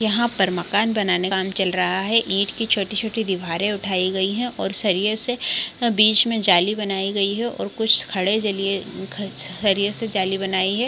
यहाँ पर मकान बनाने का काम चल रहा है ईंट की छोटी-छोटी दीवारें उठायी गयी है और सरिये से बीच में जाली बनायीं गयी है और कुछ खड़े जलिये ख छरिये से जाली बनायीं है।